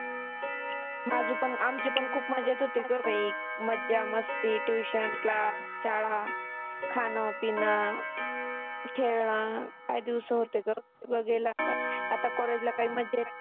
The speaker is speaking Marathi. माझी पण आमची पण खुप मजा येत होती ग बाई. मज्जा मस्ती tuition, class शाळा, खान, पिण, खेळनं काय दिवसं होते ग. गेला आता. आता college ला काही मज्जा नाही